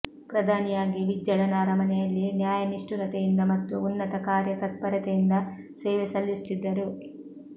ಪ್ರಧಾನಿಯಾಗಿ ಬಿಜ್ಜಳನ ಅರಮನೆಯಲ್ಲಿ ನ್ಯಾಯನಿಷ್ಠುರತೆಯಿಂದ ಮತ್ತು ಉನ್ನತ ಕಾರ್ಯತತ್ಪರತೆಯಿಂದ ಸೇವೆ ಸಲ್ಲಿಸುತ್ತಿದ್ದರು